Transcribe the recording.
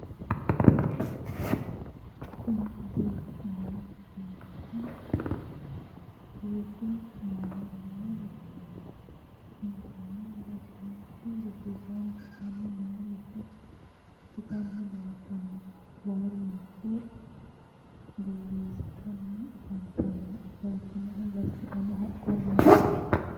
kuni misilete aana leellannohu rosu aana noo rosaanooti. insano rosiisaanchu aanni noo roso harunsitanni leeltanno. baalunkuno borreessitanni afantanno ofoltinohu barcimuno haqqunniho.